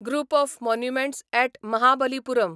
group of monuments at Mahabalipuram